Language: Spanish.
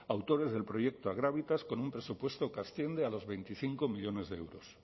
autores del proyecto agravitas con un presupuesto que asciende a los veinticinco millónes de euros